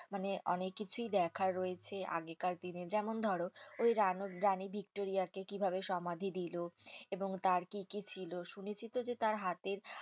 মানে অনেককিছুই দেখার রয়েছে আগেকার দিনের যেমন ধরো, ওই রানও রানী ভিক্টোরিয়াকে কিভাবে সমাধি দিল এবং তার কি কি ছিল শুনেছি তো যে তার হাতের মানে অনেক কিছুই দেখার রয়েছে আগেকার দিনের